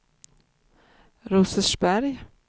Rosersberg